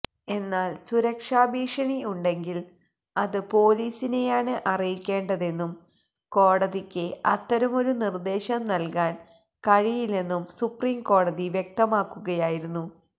എന്നാൽ സുരക്ഷാ ഭീഷണി ഉണ്ടെങ്കിൽ അത് പോലീസിനെയാണ് അറിയിക്കേണ്ടതെന്നും കോടതിക്ക് അത്തരമൊരു നിർദേശം നൽകാൻ കഴിയില്ലെന്നും സുപ്രീം കോടതി വ്യക്തമാക്കുകയായിരുന്നു